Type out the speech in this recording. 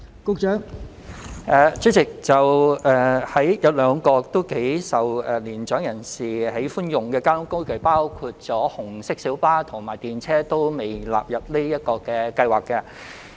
代理主席，有兩種頗受年長人士喜歡的交通工具——紅色小巴及電車——皆尚未納入優惠計劃之內。